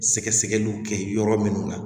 Sɛgɛsɛgɛliw kɛ yɔrɔ minnu na